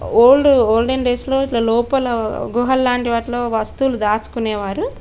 Old olden డేస్లో ఇట్ల లోపల గుహలాంటి వాటులో వస్తులు దాచుకునేవారు.